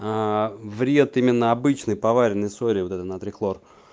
аа вред именно обычной поваренной соли натрий хлор